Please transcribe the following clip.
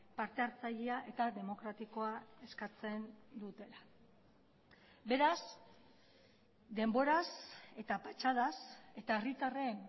partehartzailea eta demokratikoa eskatzen dutela beraz denboraz eta patxadaz eta herritarren